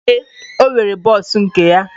Ee, ọ nwere bọs nke ya.